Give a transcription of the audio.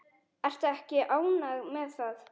Ertu ekki ánægð með það?